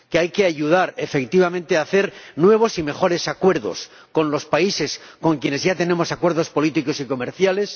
que hay que ayudar, efectivamente, a celebrar nuevos y mejores acuerdos con los países con quienes ya tenemos acuerdos políticos y comerciales